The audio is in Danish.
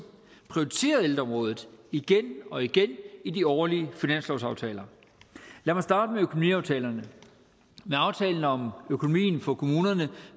prioriteret ældreområdet igen og igen i de årlige finanslovsaftaler lad mig starte med økonomiaftalerne med aftalen om økonomien for kommunerne